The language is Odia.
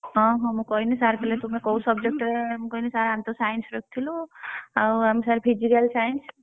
ହଁ ହଁ ମୁଁ କହିନୀ sir କହିଲେ ତୁମେ କୋଉ subject ଟେ ରେ ମୁଁ କହିନୀ sir ଆମେ ତ Science ରଖିଥିଲୁ? ଆଉ ଆମେ sir Physical Science Math ।